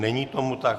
Není tomu tak.